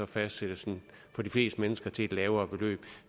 fastsættes den for de fleste mennesker til et lavere beløb